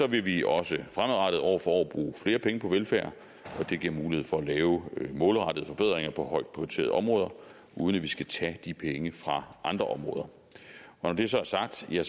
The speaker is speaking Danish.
vil vi også fremadrettet år for år bruge flere penge på velfærd og det giver mulighed for at lave målrettede forbedringer på højt prioriterede områder uden at vi skal tage de penge fra andre områder når det så er sagt har